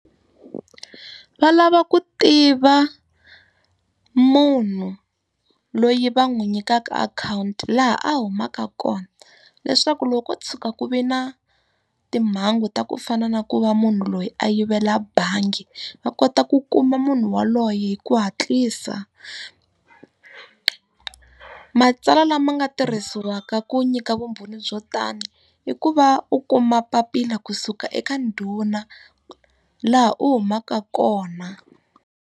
Va lava ku tiva munhu loyi va n'wi nyikaka akhawunti laha a humaka kona, leswaku loko ko tshuka ku ve na timhangu ta ku fana na ku va munhu loyi a yivela bangi va kota ku kuma munhu yaloye hi ku hatlisa. Matsalwa lama nga tirhisiwa ka ku nyika vumbhoni byo tani, i ku va u kuma papila kusuka eka ndhuna laha u humaka kona.